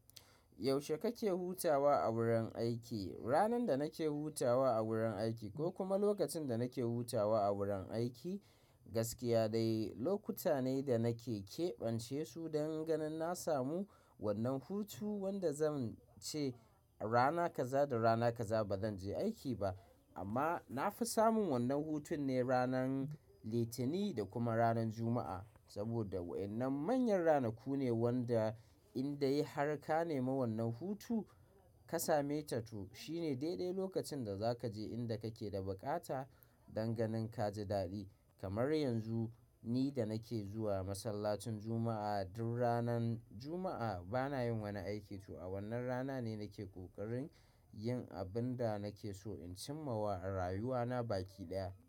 Yaushe kake hutawa a wurin aiki? Ranar da nake hutawa a wurin aiki ko kuma lokacin da nake hutawa a wurin aiki, gaskiya dai lokuta ne da nake ƙeɓance su don ganin na samu wannan hutu wanda zan ce rana kaza da rana kaza ba zan je aiki ba. Amma na fi samun wannan hutun ne ranar Litani da kuma ranar Juma'a. Saboda waɗannan manyan ranaku ne wanda in dai har ka nema wannan hutu ka same ta tu shine daidai lokacin da za ka je inda kake da buƙata don ganin ka ji daɗi. Kamar yanzu ni da nake zuwa masallacin Juma'a, duk ranar Juma'a bana yin wani aiki to a wannan rana ne nake ƙoƙarin yin abin da nake so in cim mawa a rayuwa na baki ɗaya.